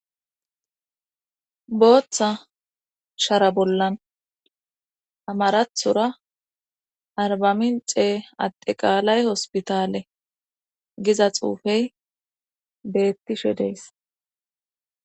booththa shara bollan amarathora arbamin xee adde qaalay hospitale giza xuufey beettishe dees